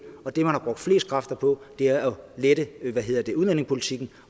og det man har brugt flest kræfter på er at lette udlændingepolitikken